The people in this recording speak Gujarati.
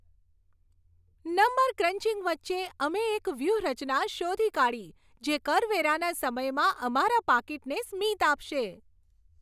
નંબર ક્રંચિંગ વચ્ચે, અમે એક વ્યૂહરચના શોધી કાઢી જે કરવેરાના સમયમાં અમારા પાકીટને સ્મિત આપશે!